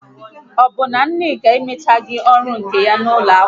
Ọ bụ na Nneka amụchaghị ọrụ nka ya n'ụlọ akwụkwọ?